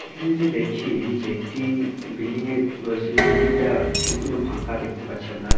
এখানে যে দেখি যে একটি-ই বিল্ডিং -এর রয়েছে যে বিল্ডিং টা সম্পূর্ণ ফাঁকা দেখতে পাচ্ছি আমরা--